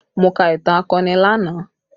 Mo ka ìtàn akọni lánàá